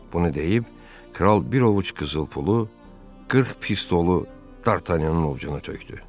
Bunu deyib kral bir ovuc qızıl pulu 40 pistolu Dartanyanın ovucuna tökdü.